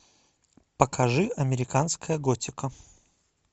покажи американская готика